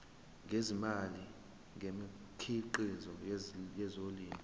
ngezimali ngemikhiqizo yezolimo